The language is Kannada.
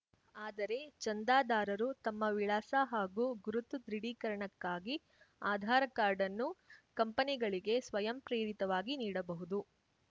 ಆದರೆ ಚಂದಾದಾರರು ತಮ್ಮ ವಿಳಾಸ ಹಾಗೂ ಗುರುತು ದೃಢೀಕರಣಕ್ಕಾಗಿ ಆಧಾರ ಕಾರ್ಡನ್ನು ಕಂಪನಿಗಳಿಗೆ ಸ್ವಯಂಪ್ರೇರಿತವಾಗಿ ನೀಡಬಹುದು